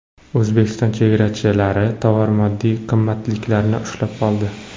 O‘zbekiston chegarachilari tovar-moddiy qimmatliklarni ushlab qoldi.